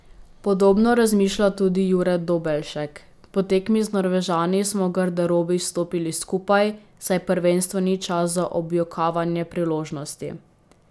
Podobno razmišlja tudi Jure Dobelšek: 'Po tekmi z Norvežani smo v garderobi stopili skupaj, saj prvenstvo ni čas za objokavanje priložnosti.